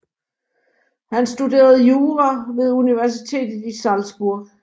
Han studerede jura ved universitetet i Salzburg